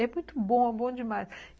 É muito bom, é bom demais.